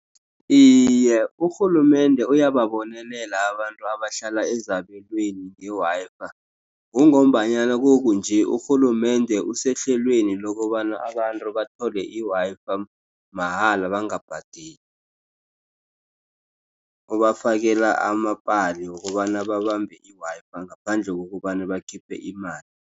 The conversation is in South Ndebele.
Iye, urhulumende uyababonelela abantu abahlala ezabelweni nge-Wi-Fi. Kungombanyana kukunje urhulumende usehlelweni lokobana abantu bathole i-Wi-Fi mahala bangabhadeli. Ubafakela amapali wokobana babambe i-Wi-Fi ngaphandle kokobana bakhiphe imali.